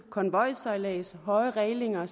konvojsejladser høje rælinger